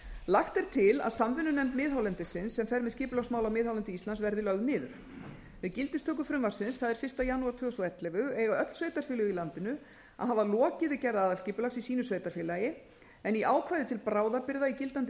lagt er til að samvinnunefnd miðhálendisins sem fer með skipulagsmál á miðhálendi íslands verði lögð niður við gildistöku frumvarpsins það er fyrsta janúar tvö þúsund og ellefu eiga öll sveitarfélög í landinu að hafa lokið við gerð aðalskipulags í sínu sveitarfélagi en í ákvæðis til bráðabirgða í gildandi